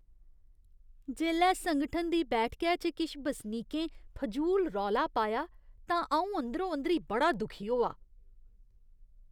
जेल्लै संगठन दी बैठकै च किश बसनीकें फजूल रौला पाया तां अ'ऊं अंदरो अंदरी बड़ा दुखी होआ।